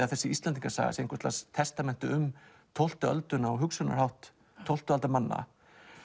þessi Íslendingasaga sem einhvers lags testament um tólftu öldina og hugsunarhátt tólftu aldar manna